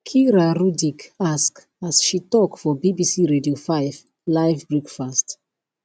kira rudik ask as she tok for bbc radio 5 live breakfast